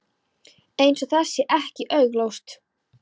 Eins og það sé ekki augljóst.